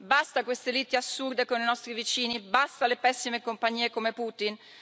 Basta queste liti assurde con i nostri vicini, basta alle pessime compagnie come Putin.